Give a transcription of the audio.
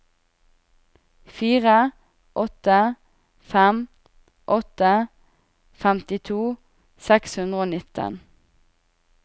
fire åtte fem åtte femtito seks hundre og nitten